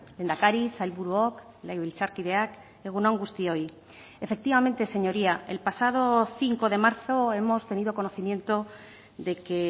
lehendakari sailburuok legebiltzarkideak egun on guztioi efectivamente señoría el pasado cinco de marzo hemos tenido conocimiento de que